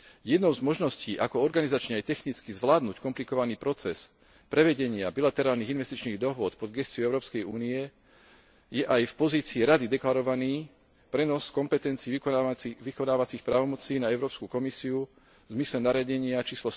Jednou z možností ako organizačne aj technicky zvládnuť komplikovaný proces prevedenia bilaterálnych investičných dohôd pod gesciu Európskej únie je aj v pozícii Rady deklarovaný prenos kompetencií vykonávacích právomocí na Európsku komisiu v zmysle nariadenia č.